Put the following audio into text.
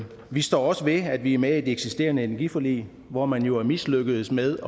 vi står også ved at vi er med i et eksisterende energiforlig hvor man jo er mislykkedes med